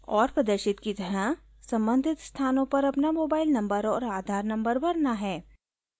और प्रदर्शित की तरह सम्बंधित स्थानों पर अपना मोबाइल नंबर और आधार नंबर भरने हैं